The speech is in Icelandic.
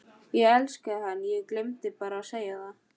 Ég elskaði hann en ég gleymdi bara að segja það.